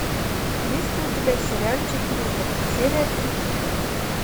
есть ли у тебя сериальчик лютер серия тридцать